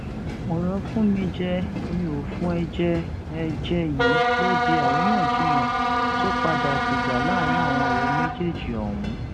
ọrọ fúnmijẹ miòfún ẹ jẹ ẹ jẹ yìí ló di àríyànjiyàn tó padà dìjà láàrin àwọn ọrẹ méjèèjì ọhún